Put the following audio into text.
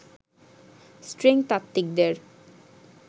string তাত্ত্বিকদের